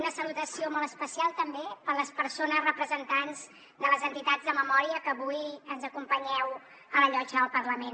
una salutació molt especial també per les persones representants de les entitats de memòria que avui ens acompanyeu a la llotja del parlament